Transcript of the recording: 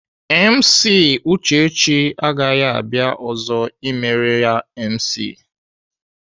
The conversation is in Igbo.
MC Uchechi agaghị abịa ọzọ emere ya MC.